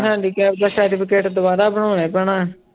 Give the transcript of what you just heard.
Handicap ਦਾ certificate ਦੁਬਾਰਾ ਬਣਾਉਣਾ ਹੀ ਪੈਣਾ